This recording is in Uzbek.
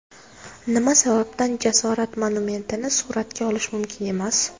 Nima sababdan jasorat monumentini suratga olish mumkin emas?.